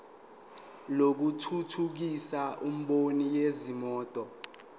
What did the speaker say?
lokuthuthukisa imboni yezimoto